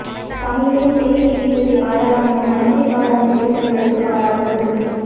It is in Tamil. தமிழிலும் தேசிய கீதத்தை பாடலாம் என மைத்திரி பால தெரிவித்ததற்கு பாராட்டு